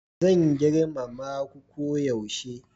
Zan girmama ku koyaushe